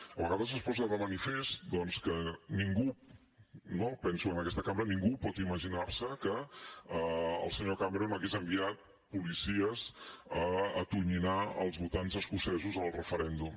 a vegades es posa de manifest doncs que ningú no ho penso en aquesta cambra ningú pot imaginar se que el senyor cameron hagués enviat policies a atonyinar els votants escocesos en el referèndum